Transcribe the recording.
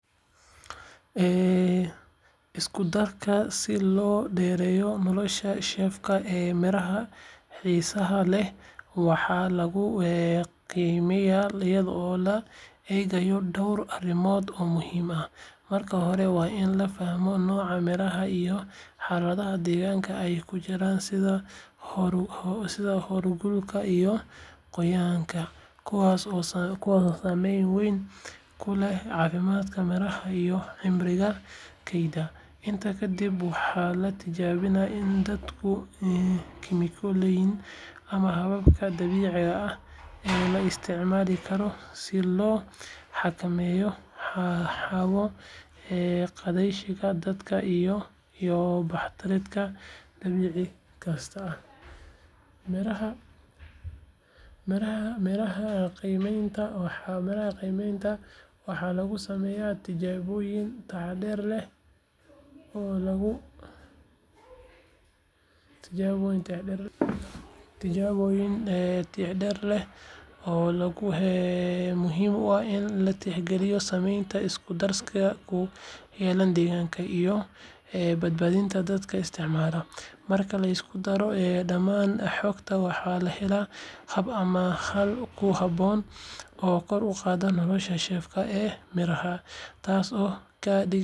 Iskudarka si loo dheereeyo nolosha shelf ee miraha xiisaha leh waxaa lagu qiimeeyaa iyadoo la eegayo dhowr arrimood oo muhiim ah. Marka hore, waa in la fahmaa nooca miraha iyo xaaladaha deegaanka ay ku jiraan sida heerkulka iyo qoyaanka, kuwaas oo saameyn weyn ku leh caafimaadka miraha iyo cimriga kaydka. Intaa kadib, waxaa la tijaabiyaa isku-darka kiimikooyinka ama hababka dabiiciga ah ee la isticmaali karo si loo xakameeyo hawo-qaadashada, daxalka, iyo bakteeriyada dhaawici karta miraha. Qiimeyntan waxaa lagu sameeyaa tijaabooyin taxadar leh oo lagu cabirayo muddada uu miro ahaan karo mid cusub oo tayo leh, iyadoo la hubinayo in isku-darkaasi uusan waxyeello u geysan dhadhanka, midabka, iyo nafaqada miraha. Sidoo kale, waxaa muhiim ah in la tixgeliyo saameynta isku-darkaasi ku leeyahay deegaanka iyo badbaadada dadka isticmaala. Marka la isku daro dhammaan xogtaan, waxaa la helaa hab ama xal ku habboon oo kor u qaada nolosha shelf ee miraha, taasoo ka dhigaysa kuwo sii dheeraan kara si fudud oo ammaan ah. Haddaba, qiimeynta isku-darka waa geedi socod muhiim ah oo ka caawinaya beeraleyda iyo ganacsatada inay ilaaliyaan tayada iyo cimriga miraha xiisaha leh, iyaga oo ka faa’iidaysanaya aqoon cilmiyeed iyo tignoolaji casri ah.